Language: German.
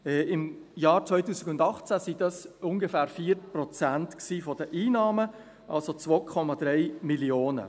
Im Jahr 2018 waren das ungefähr 4 Prozent der Einnahmen, also 2,3 Mio. Franken.